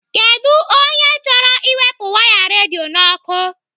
Kedụ onye chọrọ iwepụ waya redio n'ọkụ?